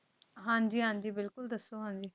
ਹਾਂ ਜੀ ਹਾਂ ਜੀ ਬਿਲਕੁਲ ਦੱਸੋ ਜਿਵੇਂ